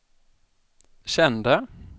kände